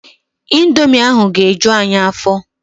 Indomi ahụ ga-eju anyị afọ.